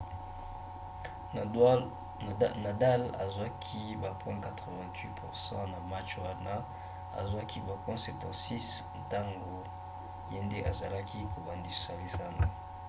nadal azwaki ba point 88% na match wana azwaki ba point 76 ntango ye nde azalaki kobandisa lisano